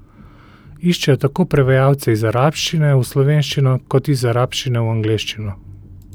Iščejo tako prevajalce iz arabščine v slovenščino kot iz arabščine v angleščino.